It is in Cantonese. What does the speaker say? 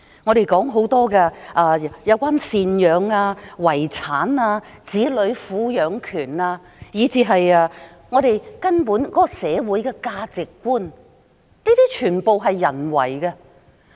我們討論有關贍養費、遺產、子女撫養權的規定，以至社會根本的價值觀，這些全部都是由人訂定的。